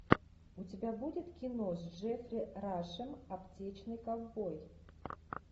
у тебя будет кино с джеффри рашем аптечный ковбой